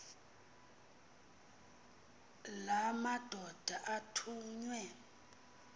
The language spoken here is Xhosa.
la madoda athunywe